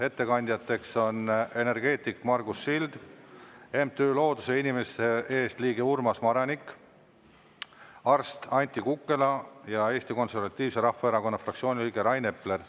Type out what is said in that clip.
Ettekandjateks on energeetik Margus Sild, MTÜ Looduse ja Inimeste Eest liige Urmas Maranik, arst Anti Kukkela ja Eesti Konservatiivse Rahvaerakonna fraktsiooni liige Rain Epler.